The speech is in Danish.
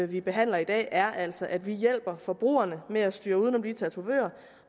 vi behandler i dag er altså at vi hjælper forbrugerne med at styre uden om de tatovører